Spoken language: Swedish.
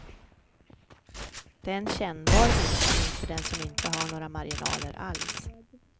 Det är en kännbar minskning för den som inte har några marginaler alls.